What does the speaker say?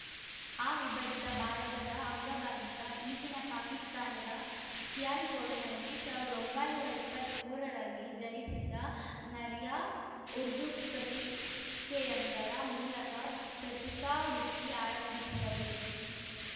ಅವಿಭಜಿತ ಭಾರತದ ಅಂಗವಾಗಿದ್ದ ಈಗಿನ ಪಾಕಿಸ್ತಾನದ ಸಿಯಾಲ್‌ಕೋಟ್‌ನಲ್ಲಿ ಸಾವಿರದ ಒಂಬೈನೂರ ಇಪ್ಪತ್ತ್ ಮೂರರಲ್ಲಿ ಜನಿಸಿದ್ದ ನರ್ಯ ಉರ್ದು ಪತ್ರಿಕೆಯೊಂದರ ಮೂಲಕ ಪ್ರತಿಕಾ ವೃತ್ತಿ ಆರಂಭಿಸಿದ್ದರು